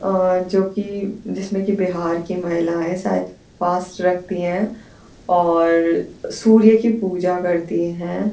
और जो कि जिसमें की बिहार की महिलाएँ शायद फास्ट रखती हैं और सूर्य की पूजा करती हैं।